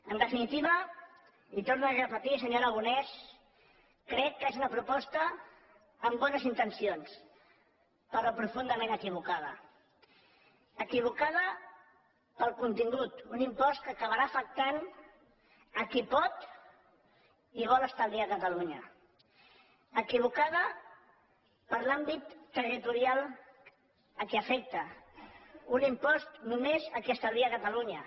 en definitiva i ho torno a repetir senyor aragonès crec que és una proposta amb bones intencions però profundament equivocada equivocada pel contingut un impost que acabarà afectant qui pot i vol estalviar a catalunya equivocada per l’àmbit territorial que afecta un impost només a qui estalvia a catalunya